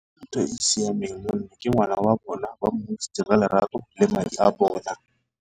Ntho e e siameng mo nna ke ngwana wa bona o ba mo godisitseng lerato le madi a bona.